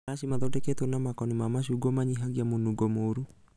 Maraci mathondeketwo na makoni ma macungwa manyihagĩa mũnũngo mũru